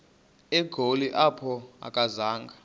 egoli apho akazanga